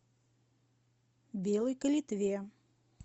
белой калитве